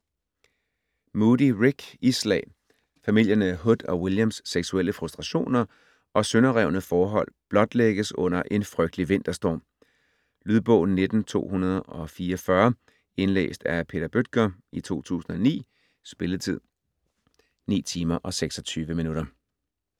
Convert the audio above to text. Moody, Rick: Isslag Familierne Hood og Williams seksuelle frustrationer og sønderrevne forhold blotlægges under en frygtelig vinterstorm. Lydbog 19244 Indlæst af Peter Bøttger, 2009. Spilletid: 9 timer, 26 minutter.